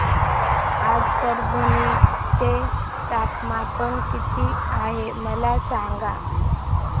आज परभणी चे तापमान किती आहे मला सांगा